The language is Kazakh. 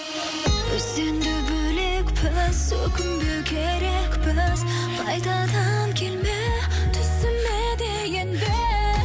біз енді бөлекпіз өкінбеу керекпіз қайтадан келме түсіме де енбе